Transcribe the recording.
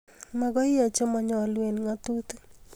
Magoi iyai che manayalu eng' nagtutik